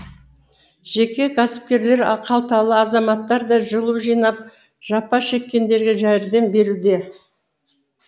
жеке кәсіпкерлер қалталы азаматтар да жылу жинап жапа шеккендерге жәрдем беруде